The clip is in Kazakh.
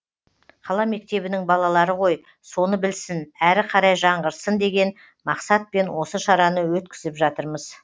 қала мектебінің балалары ғой соны білсін әрі қарай жаңғыртсын деген мақсатпен осы шараны өткізіп жатырмыз